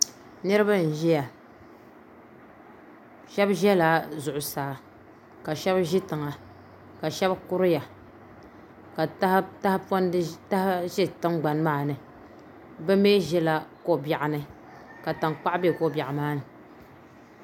Niraba n ʒiya shab ʒɛla zuɣusaa ka shab ʒi tiŋa ka ka shab kuriya ka taha ʒɛ tingbani maa ni bi mii ʒila ko biɛɣu ni ka tankpaɣu bɛ ko biɛɣu maa ni